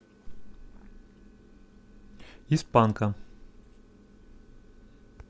из панка